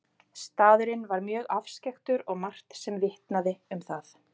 Staðurinn var mjög afskekktur og margt sem vitnaði um það.